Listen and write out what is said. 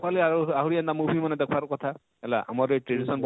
ଦେଖବାର ଲାଗି ଆହୁରି ଆହୁରି ଏନତା movie ମାନେ ଦେଖବାର କଥା ହେଲା ଆମର ଏ tradition